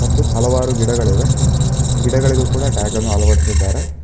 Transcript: ಮತ್ತು ಹಲವಾರು ಗಿಡಗಳಿವೆ ಗಿಡಗಳಿಗು ಕೂಡ ಟ್ಯಾಗ್ ಅನ್ನು ಅಳವಡಿಸಿದ್ದಾರೆ.